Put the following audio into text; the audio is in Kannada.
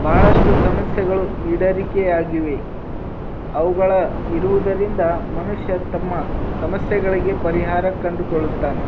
ಬಹಳಸ್ಟು ಸಮಸ್ಯೆಗಳು ಈಡೇರಿಕೆ ಆಗಿದೆ. ಅವುಗಳ ಇರುವುದರಿಂದ ಮನುಷ್ಯ ತಮ್ಮ ಸಮಸ್ಯೆಗಳಿಗೆ ಪರಿಹಾರ ಕಂಡು ಕೊಳ್ಳುತಾನೆ.